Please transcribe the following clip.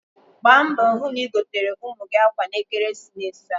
Gbaa mbọ hụ na igotere ụmụ gị akwa n'ekeresimesi a.